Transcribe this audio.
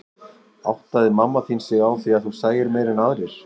Áttaði mamma þín sig á því að þú sæir meira en aðrir?